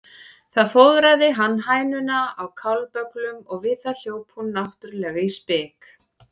Þar fóðraði hann hænuna á kálbögglum og við það hljóp hún náttúrlega í spik.